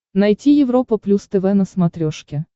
найти европа плюс тв на смотрешке